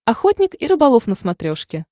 охотник и рыболов на смотрешке